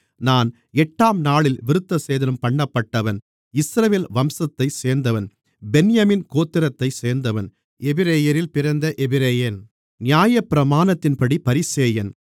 நான் எட்டாம்நாளில் விருத்தசேதனம்பண்ணப்பட்டவன் இஸ்ரவேல் வம்சத்தைச் சேர்ந்தவன் பென்யமீன் கோத்திரத்தைச் சேர்ந்தவன் எபிரெயரில் பிறந்த எபிரெயன் நியாயப்பிரமாணத்தின்படி பரிசேயன்